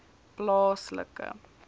plaaslike